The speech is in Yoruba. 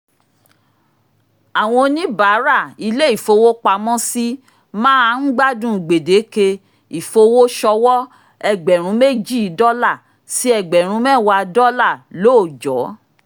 àwọn oníbàárà ilé ìfowópamọ́sí máa ń gbádùn gbèdéke ìfowósọwọ́ ẹgbẹ̀rún méjì dọ́là sí ẹgbẹ̀rún mẹ́wàá dọ́là lóòjọ́